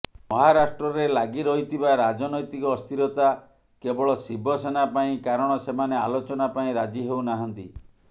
ମହାରାଷ୍ଟ୍ରରେ ଲାଗିରହିଥିବା ରାଜନୌତିକ ଅସ୍ତିରତା କେବଳ ଶିବସେନା ପାଇଁ କାରଣ ସେମାନେ ଆଲୋଚନା ପାଇଁ ରାଜି ହେଉନାହାନ୍ତି